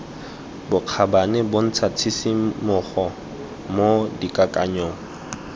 bokgabane bontsha tshisimogo mo dikakanyong